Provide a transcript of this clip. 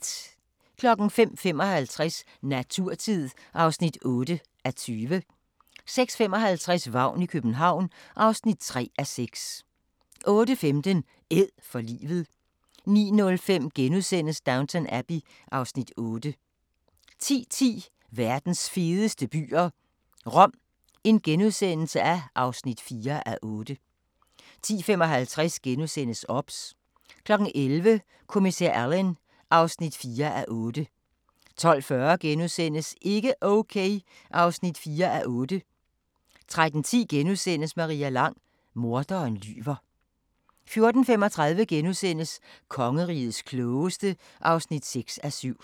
05:55: Naturtid (8:20) 06:55: Vagn i København (3:6) 08:15: Æd for livet 09:05: Downton Abbey (Afs. 8)* 10:10: Verdens fedeste byer - Rom (4:8)* 10:55: OBS * 11:00: Kommissær Alleyn (4:8) 12:40: Ikke okay (4:8)* 13:10: Maria Lang: Morderen lyver * 14:35: Kongerigets klogeste (6:7)*